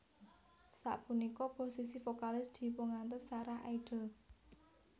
Sapunika posisi vokalis dipungantos Sarah Idol